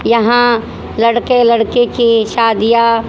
यहां लड़के लड़के की शादियां--